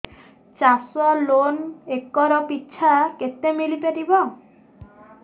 ଚାଷ loan acre ପିଛା କେତେ ମିଳି ପାରିବ